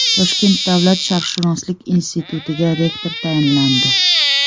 Toshkent davlat sharqshunoslik institutiga rektor tayinlandi.